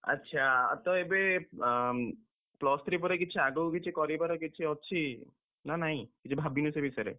ଆଚ୍ଛା! ତ ଏବେ ଅଁ, plus three ପରେ କିଛି ଆଗୁକୁ କିଛି କରିବାର କିଛି ଅଛି, ନା ନାଇଁ, କିଛି ଭାବିନୁ ସେ ବିଷୟରେ?